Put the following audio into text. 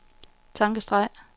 tankestreg